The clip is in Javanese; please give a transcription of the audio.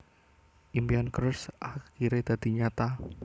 Impian Cruz akiré dadi nyata